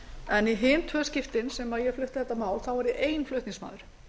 en í hin tvö skiptin sem ég flutti þetta mál var ég ein flutningsmaður